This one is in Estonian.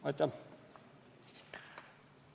Aitäh!